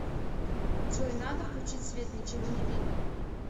джой надо включить свет ничего не видно